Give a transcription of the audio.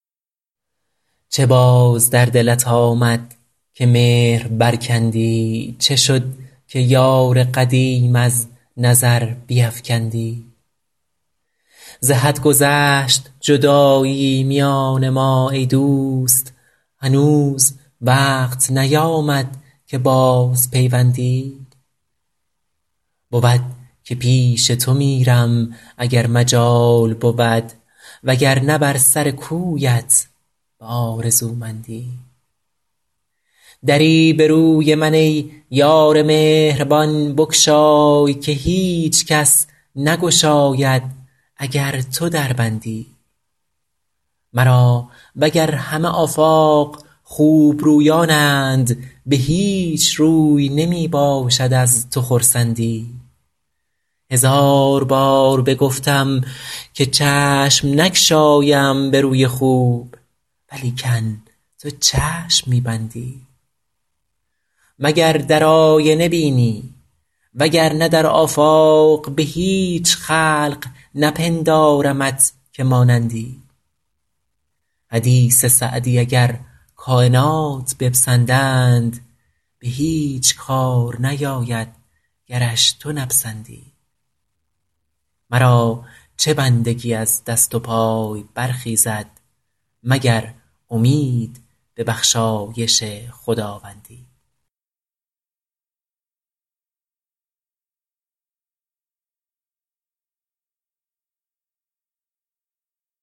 چه باز در دلت آمد که مهر برکندی چه شد که یار قدیم از نظر بیفکندی ز حد گذشت جدایی میان ما ای دوست هنوز وقت نیامد که بازپیوندی بود که پیش تو میرم اگر مجال بود وگرنه بر سر کویت به آرزومندی دری به روی من ای یار مهربان بگشای که هیچ کس نگشاید اگر تو در بندی مرا وگر همه آفاق خوبرویانند به هیچ روی نمی باشد از تو خرسندی هزار بار بگفتم که چشم نگشایم به روی خوب ولیکن تو چشم می بندی مگر در آینه بینی وگرنه در آفاق به هیچ خلق نپندارمت که مانندی حدیث سعدی اگر کاینات بپسندند به هیچ کار نیاید گرش تو نپسندی مرا چه بندگی از دست و پای برخیزد مگر امید به بخشایش خداوندی